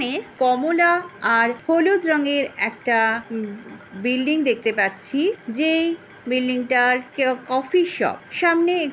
এখানে কমলা আর হলুদ রঙের একটা ব ব বিল্ডিং দেখতে পাচ্ছি। যেই বিল্ডিংটার কে কফি শপ । সামনে এক--